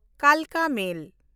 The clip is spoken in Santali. ᱠᱟᱞᱠᱟ ᱢᱮᱞ